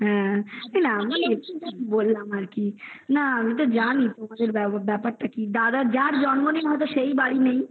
না মানে বললাম আর কি না আমি তো জানি তোমাদের ব্যাপার তা কি যার জন্মদিন সেই বাড়িতে নেই